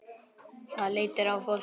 Það léttir á fólki.